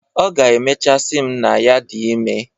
Ọ ga-emechaa sị m na ya dị ime.